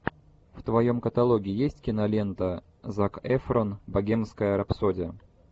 в твоем каталоге есть кинолента зак эфрон богемская рапсодия